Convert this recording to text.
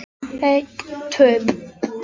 Einbjörg, hvenær kemur ásinn?